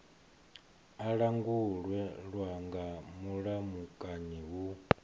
a langulwa nga mulamukanyi hu